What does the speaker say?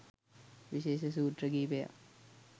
විශේෂ සූත්‍ර කීපයක්